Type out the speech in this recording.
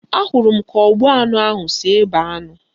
Ahụrụ m ka ogbu anụ ahụ si ebe anụ